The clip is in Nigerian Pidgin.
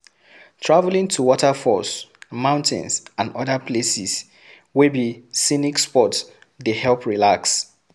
Travelling to waterfalls, mountain and oda places wey be scenic spot dey help relax